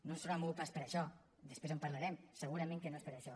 no es deu haver mogut pas per això després en parlarem segurament que no és per això